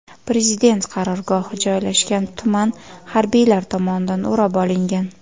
Prezident qarorgohi joylashgan tuman harbiylar tomonidan o‘rab olingan.